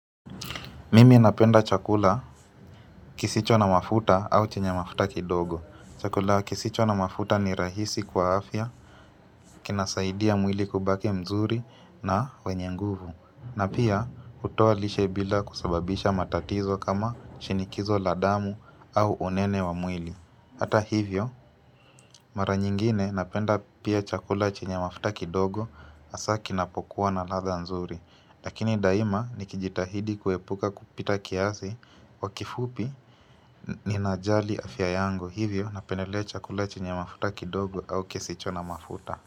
Mimi napenda chakula kisicho na mafuta au chenye mafuta kidogo. Chakula kisicho na mafuta ni rahisi kwa afya kinasaidia mwili kubaki mzuri na wenye nguvu na pia hutoa lishe bila kusababisha matatizo kama shinikizo la damu au unene wa mwili. Hata hivyo, mara nyingine napenda pia chakula chenye mafuta kidogo hasa kinapokuwa na ladha nzuri. Lakini daima nikijitahidi kuepuka kupita kiasi. Kwa kifupi ninajali afya yangu, hivyo napendelea chakula chenye mafuta kidogo au kisicho na mafuta.